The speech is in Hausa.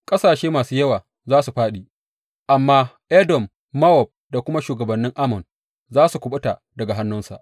Ƙasashe masu yawa za su fāɗi, amma Edom, Mowab da kuma shugabannin Ammon za su kuɓuta daga hannunsa.